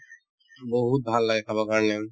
বহুত ভাল লাগে খাবৰ কাৰণে